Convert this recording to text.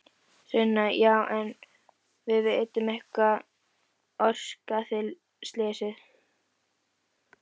Sunna: Já en vitum við eitthvað hvað orsakaði slysið?